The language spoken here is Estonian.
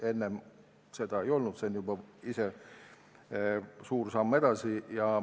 Enne seda ei olnud, see on ise juba suur samm edasi.